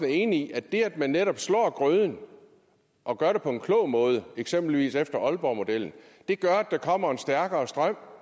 enig i at det at man netop slår grøden og gør det på en klog måde eksempel efter aalborgmodellen gør at der kommer en stærkere strøm